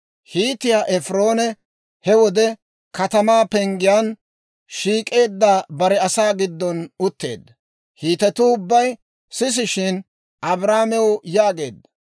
Hiitiyaa Efiroone he wode katamaa penggiyaan shiik'eedda bare asaa giddon utteedda; Hiitetuu ubbay sisishshin, Abrahaamew yaageedda;